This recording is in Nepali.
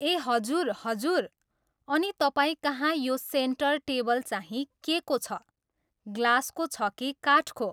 ए हजुर हजुर, अनि तपाईँकहाँ यो सेन्टर टेबल चाहिँ के को छ? ग्लासको छ कि काठको?